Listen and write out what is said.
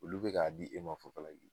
Olu bɛ k'a di, e ma fufalaki .